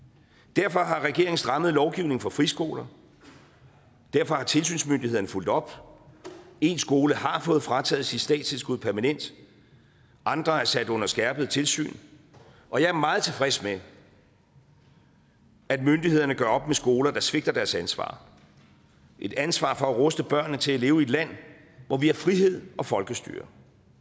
derfor har regeringen strammet lovgivningen for friskoler derfor har tilsynsmyndighederne fulgt op én skole har fået frataget sit statstilskud permanent andre er sat under skærpet tilsyn og jeg er meget tilfreds med at myndighederne gør op med skoler der svigter deres ansvar et ansvar for at ruste børnene til at leve i et land hvor vi har frihed og folkestyre